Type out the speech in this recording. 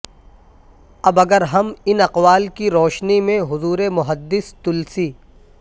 اب اگرہم ان اقوال کی روشنی میں حضورمحدث تلسی